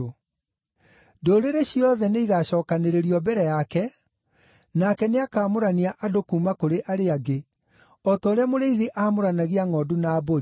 Ndũrĩrĩ ciothe nĩigacookanĩrĩrio mbere yake, nake nĩakamũrania andũ kuuma kũrĩ arĩa angĩ, o ta ũrĩa mũrĩithi aamũranagia ngʼondu na mbũri.